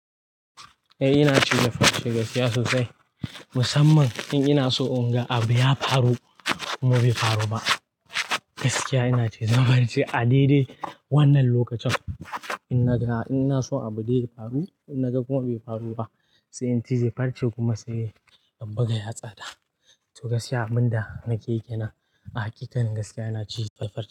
Eh ina cewa gaskiya sosai, musamman in ina so in ga abu ya faru kuma bai faru ba. Gaskiya ina cewa farce a daidai wannan lokacin, ina so abu dai ya faru ina ga kuma bai faru ba. Sai in tizi farce kuma sai in buga yatsa da. To gaskiya abin da nake yi kenan a hakikan gaskiya ina cin farce.